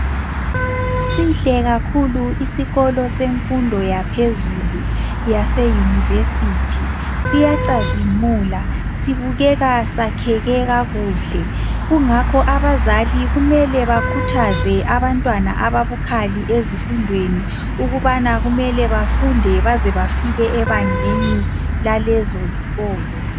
Sihle kakhulu isikolo sefundo yaphezulu yaseyunivesiti siyacazimula sibukeka sakheke kakuhle kungakho abazali kumele bakhuthaze abantwana ababukhali ukuthi kumele bafunde baze bafike egangeni lalezo zikolo